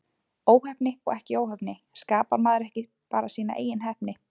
Óheppni og ekki óheppni, skapar maður ekki bara sína eigin heppni?